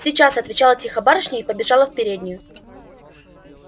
сейчас отвечала тихо барышня и побежала в переднюю